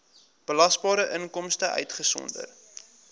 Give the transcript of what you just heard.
belasbare inkomste uitgesonderd